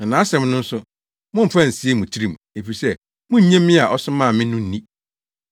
Na nʼasɛm no nso mommfa nsie mo tirim, efisɛ munnnye me a ɔsomaa me no nni.